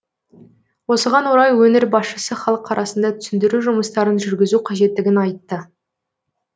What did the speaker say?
осыған орай өңір басшысы халық арасында түсіндіру жұмыстарын жүргізу қажеттігін айтты